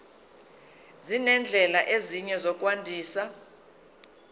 nezindlela ezinye zokwandisa